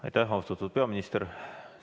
Aitäh, austatud peaminister!